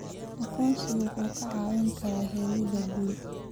Aqoonsigu wuxuu kaa caawin karaa helida guri.